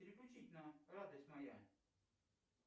переключить на радость моя